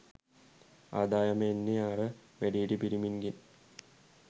ආදායම එන්නේ අර වැඩිහිටි පිරිමින්ගෙන්.